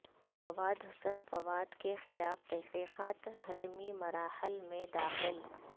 فواد حسن فواد کیخلاف تحقیقات حتمی مراحل میں داخل